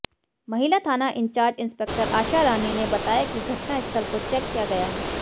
महिला थाना in charge inspector Asha Rani ने बताया कि घटनास्थल को चेक किया गया है